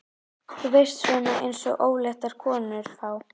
Þú veist, svona eins og óléttar konur fá.